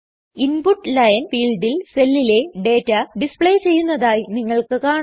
input line ഫീൽഡിൽ സെല്ലിലെ data display ചെയ്യുന്നതായി നിങ്ങൾക്ക് കാണാം